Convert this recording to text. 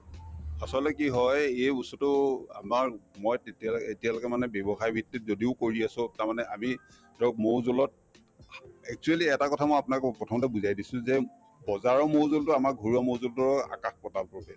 আচলতে কি হয় এই বস্তুতো আমাৰ মই তেতিয়ালৈকে এতিয়ালৈকে মানে ব্যৱসায়ভিত্তিত যদিও কৰি আছো তাৰমানে আমি মৌ জৌলত actually এটা কথা মই আপোনাক কওঁ প্ৰথমতে বুজাই দিছো যে বজাৰৰ মৌ জৌলতো আমাৰ ঘৰুৱা মৌ জৌলতোৰো আকাশ-পাতাল প্ৰভেদ